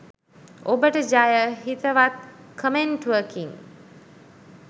ඔබටජය හිතවත් කමෙන්ටුවකින්